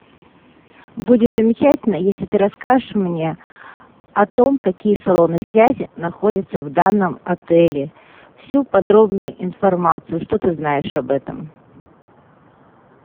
будет замечательно если ты расскажешь мне о том какие салоны связи находятся в данном отеле всю подробную информацию что ты знаешь об этом